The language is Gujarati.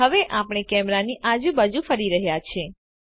હવે આપણે કેમેરાની આજુબાજુ ફરી રહ્યા છે